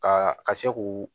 Ka ka se k'u